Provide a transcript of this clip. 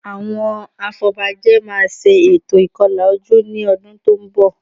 Àwọn afọbajẹ máa ṣe ètò ìkọlà ojú ní ọdún tó ń bọ̀